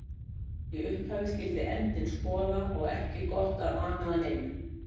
Í upphafi skyldi endinn skoða og ekki gott að ana að neinu.